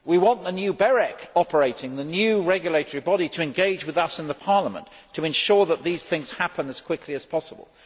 We want the new BEREC operating we want the new regulatory body to engage with us in Parliament, to ensure that these things happen as quickly as possible.